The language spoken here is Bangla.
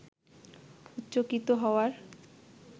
উচ্চকিত হওয়ার